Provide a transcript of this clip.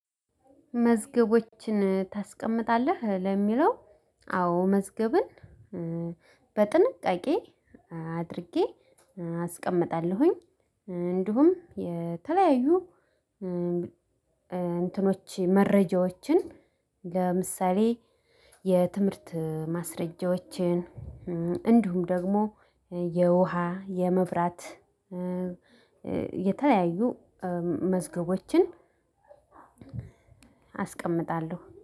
መዝገቦችን ታስቀምጣለህ ለሚለው? አዎ መዝገብን በጥንቃቄ አድርጌ አስቀምጣለሁኝ። እንዲሁም የተለያዩ እንትኖች መረጃዎችን ለምሳሌ የትምህርት ማስረጃዎችን እንዲሁም ደግሞ የውሃ የመብራት የተለያዩ መዝገቦችን። አስቀምጣለሁ